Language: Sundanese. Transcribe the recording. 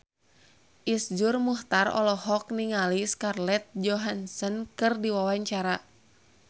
Iszur Muchtar olohok ningali Scarlett Johansson keur diwawancara